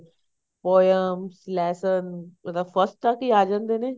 poems lesson ਇਹ ਤਾਂ first ਤੱਕ ਹੀ ਆ ਜਾਂਦੇ ਨੇ